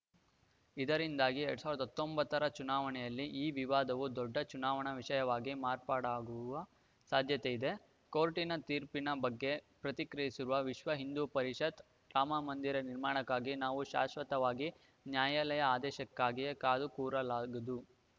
ಇದರಿಂದಾಗಿ ಎರಡ್ ಸಾವಿರದ ಹತ್ತೊಂಬತ್ತರ ಚುನಾವಣೆಯಲ್ಲಿ ಈ ವಿವಾದವು ದೊಡ್ಡ ಚುನಾವಣಾ ವಿಷಯವಾಗಿ ಮಾರ್ಪಾಡಾಗುವ ಸಾಧ್ಯತೆ ಇದೆ ಕೋರ್ಟ್‌ ತೀರ್ಪಿನ ಬಗ್ಗೆ ಪ್ರತಿಕ್ರಿಯಿಸಿರುವ ವಿಶ್ವ ಹಿಂದೂ ಪರಿಷತ್‌ ರಾಮಮಂದಿರ ನಿರ್ಮಾಣಕ್ಕಾಗಿ ನಾವು ಶಾಶ್ವತವಾಗಿ ನ್ಯಾಯಾಲಯ ಆದೇಶಕ್ಕಾಗಿಯೇ ಕಾದು ಕೂರಲಾಗದು